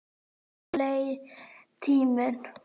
Svo leið tíminn.